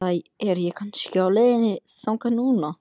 Eða er ég kannski á leiðinni þangað núna?